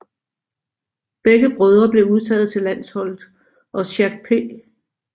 Begge brødre blev udtaget til landsholdet og Jacques P